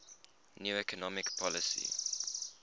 new economic policy